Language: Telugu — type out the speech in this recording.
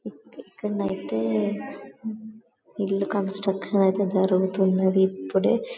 ఇక్కడనైతే ఇల్లు కన్స్ట్రక్షన్ అయితే జరుగుతుంది ఇప్పుడే--